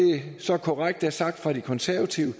så korrekt er sagt fra de konservatives